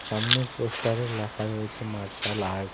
সামনের পোস্টারে লেখা রয়েছে মার্শাল আর্ট ।